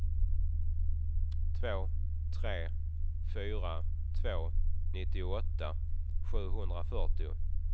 två tre fyra två nittioåtta sjuhundrafyrtio